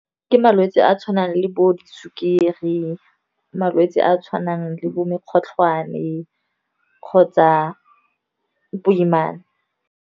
Ke malwetse a tshwanang le bo di sukiri, malwetse a a tshwanang le bo mokgotlhwane kgotsa boimana.